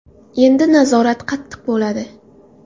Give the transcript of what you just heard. Endi nazorat qattiq bo‘ladi.